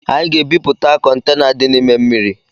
Anyị ga-ebipụta Kọntena dị n’ime ụgbọ mmiri